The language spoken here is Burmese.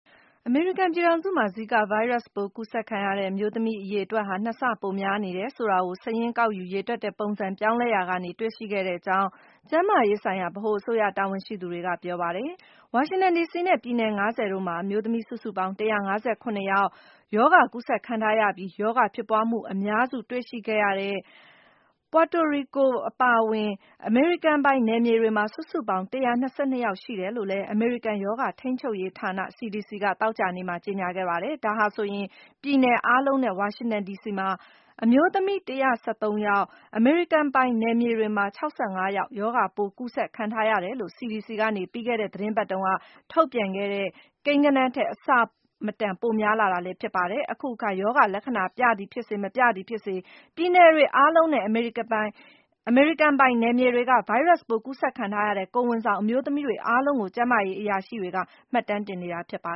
အမေရိကန် ပြည်ထောင်စုမှာ ဇီကာဗိုင်းရပ်စ်ပိုး ကူးစက်ခံရတဲ့ အမျိုးသမီး အရေအတွက်ဟာ ၂ ဆပိုများနေတယ်ဆိုတာကို၊ စာရင်းကောက်ယူ ရေတွက်တဲ့ ပုံစံပြောင်းလဲရာက တွေ့ရှိခဲ့ရတဲ့အကြောင်း ကျန်းမာရေးဆိုင်ရာ ဗဟိုအစိုးရ တာဝန်ရှိသူတွေက ပြောပါတယ်။ ဝါရှင်တန်ဒီစီနဲ့ ပြည်နယ် ၅၀ တို့မှာ အမျိုးသမီးစုစုပေါင်း ၁၅၇ ယောက် ရောဂါ ကူးစက်ခံထားရပြီး၊ ရောဂါဖြစ်ပွားမှု အများစုတွေ့ရှိခဲ့ရတဲ့ ပွာတိုရီကို အပါအဝင် အမေရိကန်ပိုင်နယ်မြေတွေမှာ စုစုပေါင်း ၁၂၂ ယောက် ရှိတယ်လို့လည်း အမေရိကန် ရောဂါထိန်းချုပ်ရေးဌာန CDC က သောကြာနေ့မှာ ကြေညာခဲ့တာပါ။ ဒါဟာဆိုရင် ပြည်နယ်အားလုံးနဲ့ ဝါရှင်တန်ဒီစီမှာ အမျိုးသမီး ၁၁၃ ယောက်၊ အမေရိကန်ပိုင်နယ်မြေတွေမှာ ၆၅ ယောက် ရောဂါပိုး ကူးစက်ခံထားရတယ်လို့ CDC က ပြီးခဲ့တဲ့ သီတင်းပတ်ထဲ ထုတ်ပြန်ခဲ့တဲ့ ကိန်းဂဏန်းထက် အဆမတန် ပိုများလာတာလည်း ဖြစ်ပါတယ်။ အခုအခါ ရောဂါလက္ခဏာ ပြသည်ဖြစ်စေ၊ မပြသည်ဖြစ်စေ ပြည်နယ်တွေ အားလုံးနဲ့ အမေရိကန်ပိုင်နယ်မြေတွေက ဗိုင်းရပ်စ်ပိုး ကူးစက်ခံထားရတဲ့ ကိုယ်ဝန်ဆောင် အမျိုးသမီးတွေ အားလုံးကို ကျန်းမာရေးအရာရှိတွေက မှတ်တမ်းတင်နေတာပါ